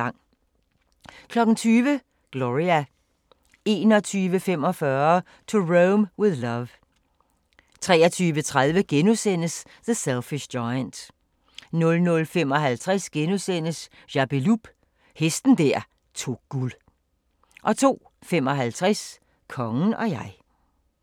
20:00: Gloria 21:45: To Rome with Love 23:30: The Selfish Giant * 00:55: Jappeloup – hesten der tog guld * 02:55: Kongen og jeg